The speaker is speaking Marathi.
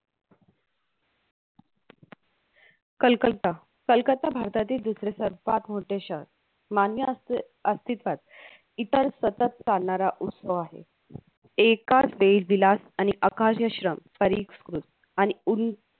कलकत्ता कलकत्ता भारतातील दुसरे सर्वात मोठे शहर मान्य असती अस्तित्वात इतर सतत चालणारा उत्सव आहे एका देवीला अनि अकाल्य श्रम परिसृत आणि ऊन